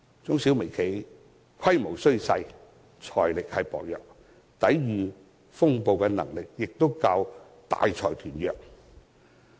中小微企規模細小，財力薄弱，抵禦風暴的能力亦較大財團弱。